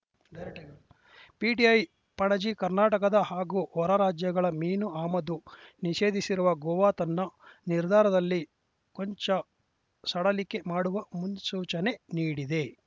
direct PTI Panaji ಕರ್ನಾಟಕದ ಹಾಗೂ ಹೊರರಾಜ್ಯಗಳ ಮೀನು ಆಮದು ನಿಷೇಧಿಸಿರುವ ಗೋವಾ ತನ್ನ ನಿರ್ಧಾರದಲ್ಲಿ ಕೊಂಚ ಸಡಿಲಿಕೆ ಮಾಡುವ ಮುನ್ಸೂಚನೆ ನೀಡಿದೆ